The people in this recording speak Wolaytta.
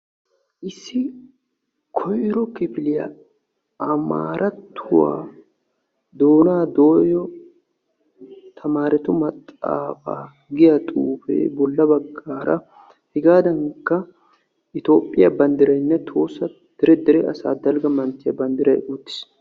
Issi koyro kifiliya Amaratruwa doona dootyo tamaretu maxaafa giya xuufe bolla bagaara hegadankka Itoophiya banddiraynne tohossa dere asaa dalgga manttiya banddiray uttiis.